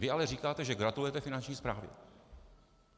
Vy ale říkáte, že gratulujete Finanční správě.